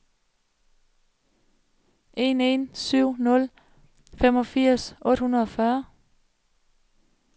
en en syv nul femogfirs otte hundrede og fyrre